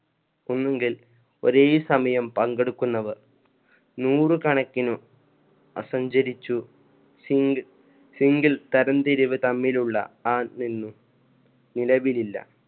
ഒന്നുങ്കിൽ ഒരേ സമയം പങ്കെടുക്കുന്നവർ നൂറ് കണക്കിന് അസഞ്ചരിച്ചു തമ്മിലുള്ള ആ നിന്നു നിലവിലില്ല.